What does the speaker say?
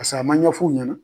pase a ma ɲɛfuw ɲɛna